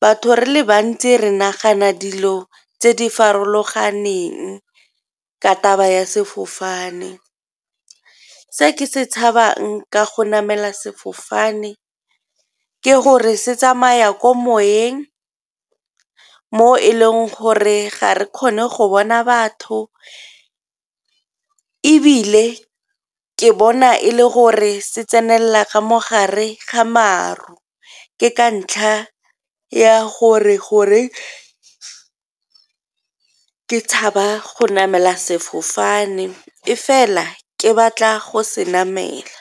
Batho re le bantsi re nagana dilo tse di farologaneng ka taba ya sefofane. Se ke se tshabang ka go namela sefofane ke gore se tsamaya ko moyeng mo e leng gore ga re kgone go bona batho, ebile ke bona e le gore se tsenela ga mogare ga maru ke ke ka ntlha ya gore gore ke tshaba go namela sefofane, e fela ke batla go senamela.